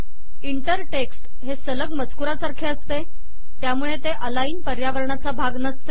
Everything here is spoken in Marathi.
इंटर टेक्स्ट हे सलग मजकुरासारखे असते त्यामुळे ते अलाइन पर्यावरणाचा भाग नसते